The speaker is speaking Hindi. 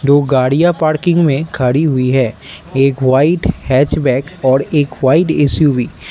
दो गाड़ियां पार्किंग में खड़ी हुई है एक वाइट हैचबैक और एक वाइट एस_यू_वी ।